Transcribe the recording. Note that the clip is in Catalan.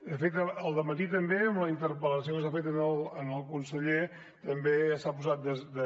de fet al dematí també amb la interpel·lació que s’ha fet al conseller també s’ha posat de